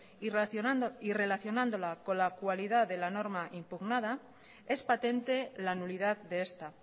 y relacionándola con la cualidad de la norma impugnada es patente la nulidad de esta